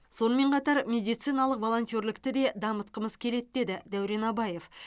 сонымен қатар медициналық волонтерлікті де дамытқымыз келеді деді дәурен абаев